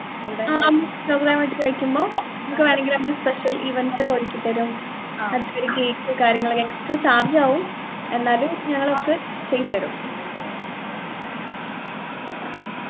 അങ്ങനെ program ആയിട്ട് കഴിക്കുമ്പോ നിങ്ങക്ക് വേണെങ്കിൽ നമ്മൾ special events ഒക്കെ ഒരുക്കിത്തരും അത്പോലെ cake ഉം കാര്യങ്ങളൊക്കെ extra charge ആവും എന്നാലും ഞങ്ങള് നിങ്ങക്ക് ചെയ്തുതരും